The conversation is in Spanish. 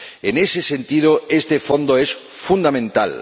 En ese sentido, este Fondo es fundamental.